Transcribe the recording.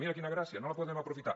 mira quina gràcia no la podem aprofitar